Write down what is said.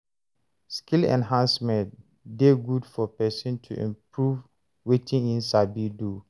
Skill enhancement de good for persin to improve wetin im sabi do